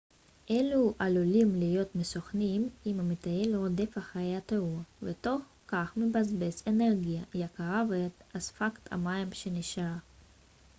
אלו עלולים להיות מסוכנים אם המטייל רודף אחר התעתוע ותוך כך מבזבז אנרגיה יקרה ואת אספקת המים שנשארה